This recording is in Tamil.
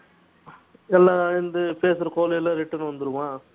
என்னா இந்த பேசுற call எல்லாம் return வந்துருமா